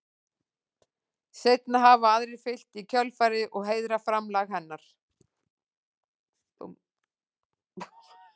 Seinna hafa aðrir fylgt í kjölfarið og heiðrað framlag hennar.